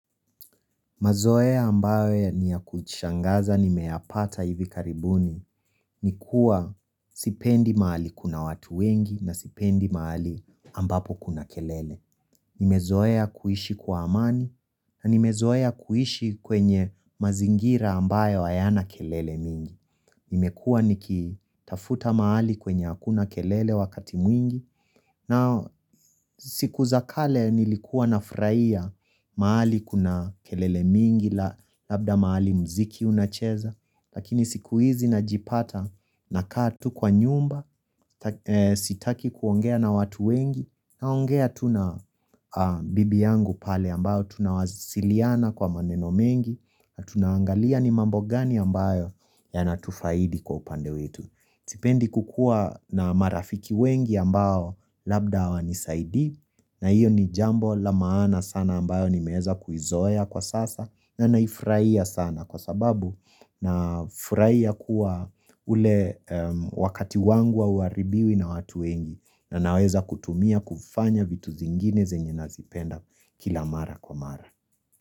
Mazoea ambayo niya kushangaza nimeyapata hivi karibuni ni kuwa sipendi mahali kuna watu wengi na sipendi mahali ambapo kuna kelele. Nimezoea kuishi kwa amani na nimezoea kuishi kwenye mazingira ambayo hayana kelele mingi. Nimekua niki tafuta mahali kwenye hakuna kelele wakati mwingi na siku za kale nilikuwa nafurahia mahali kuna kelele mingi la labda mahali mziki unacheza lakini siku hizi najipata nakaa tu kwa nyumba sitaki kuongea na watu wengi naongea tu na bibi yangu pale ambao tunawasiliana kwa maneno mengi na tuna angalia ni mambo gani ambayo ya natufaidi kwa upande wetu sipendi kukuwa na marafiki wengi ambao labda hawanisaidii na iyo ni jambo la maana sana ambayo nimeeza kuizoea kwa sasa na naifurahia sana kwa sababu nafurahia kuwa ule wakati wangu hauharibiwi na watu wengi na naweza kutumia kufanya vitu zingine zenye nazipenda kila mara kwa mara.